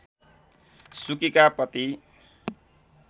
सुकीका पति